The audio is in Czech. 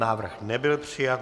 Návrh nebyl přijat.